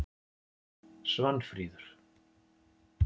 Svanfríður